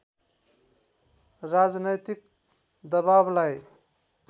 राजनैतिक दबाबलाई